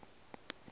ge o ka ba o